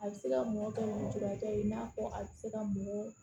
A bɛ se ka mɔ kɛ ni cogoya ye i n'a fɔ a tɛ se ka mɔ